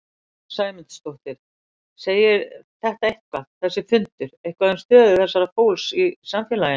Sunna Sæmundsdóttir: Segir þetta eitthvað, þessi fundur eitthvað um stöðu þessa fólks í samfélaginu?